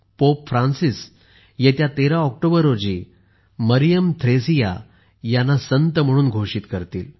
pope Francis येत्या 13 October रोजी मरियम थ्रेसिया यांना संत म्हणून घोषित करतील